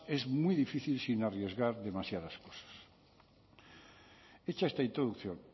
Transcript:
es muy difícil sin arriesgar demasiadas cosas hecha esta introducción